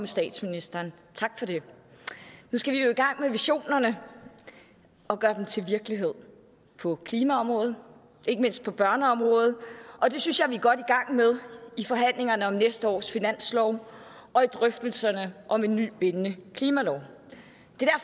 statsministeren tak for det nu skal vi jo i gang med visionerne og gøre dem til virkelighed på klimaområdet og ikke mindst på børneområdet og det synes jeg vi er godt i gang med i forhandlingerne om næste års finanslov og i drøftelserne om en ny bindende klimalov det